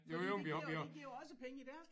Fordi det giver jo det giver jo også penge i deres